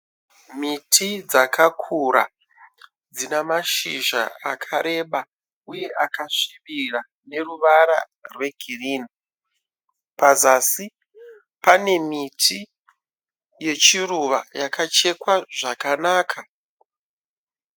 Miti dzakakura dzina mashizha akareba uye akasvibira neruvara rwegirini. Pazasi pane miti yechiruva yakachekwa zvakanaka.